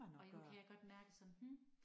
Og nu kan jeg godt mærke sådan hm